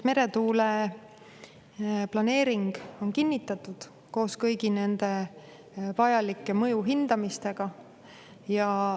Meretuule planeering on kinnitatud koos kõigi nende vajalike mõjuhindamistega.